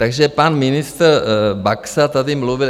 Takže pan ministr Baxa tady mluvil...